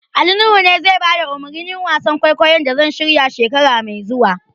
Ali Nuhu ne zai bada umarnin wasan kwaikwayon da zan shirya, shekara mai zuwa.